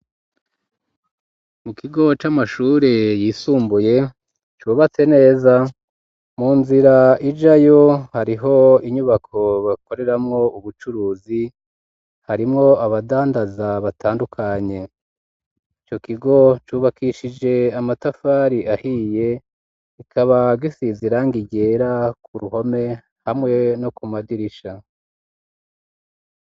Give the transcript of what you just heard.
Mu kigo c'amashure yisumbuye cubatse neza mu nzira ijayo hariho inyubako bakoreramwo ubucuruzi harimwo abadandaza batandukanye ico kigo cubakishije amatafari ahiye ikaba gisizirang igera ku ruhome hamwe no ku madirisha